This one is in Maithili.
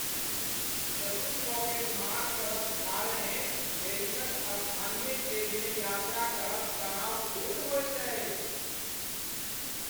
चतुर पॉकेटमार सभक कारणेँ पेरिसक स्थानीय ट्रेनमे यात्रा करब तनावपूर्ण होइत अछि।